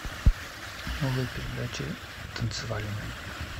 новые передачи танцевальные